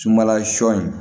Sumala sɔ in